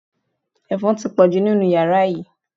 Ẹ̀fọn ti pọ̀jù nínú yàrá yìí